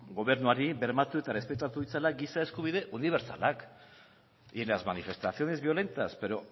gobernuari bermatu eta errespetatu ditzala giza eskubide unibertsalak y las manifestaciones violentas pero